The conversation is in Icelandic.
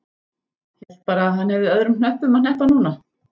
Hélt bara að hann hefði öðrum hnöppum að hneppa núna.